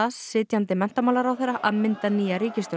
sitjandi menntamálaráðherra að mynda nýja ríkisstjórn